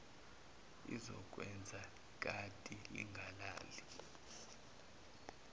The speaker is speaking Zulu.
izokwenza ikati lingalali